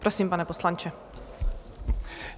Prosím, pane poslanče.